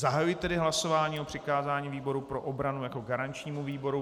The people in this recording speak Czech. Zahajuji tedy hlasování o přikázání výboru pro obranu jako garančnímu výboru.